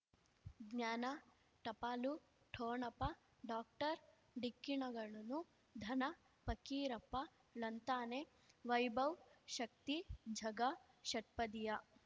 ಜ್ಞಾನ ಟಪಾಲು ಠೊಣಪ ಡಾಕ್ಟರ್ ಢಿಕ್ಕಿ ಣಗಳನು ಧನ ಫಕೀರಪ್ಪ ಳಂತಾನೆ ವೈಭವ್ ಶಕ್ತಿ ಝಗಾ ಷಟ್ಪದಿಯ